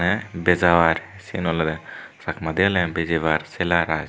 tey bejabar siyen olwdey chakmadi oleye bejibar selaar i.